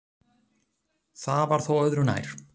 Það var þó öðru nær.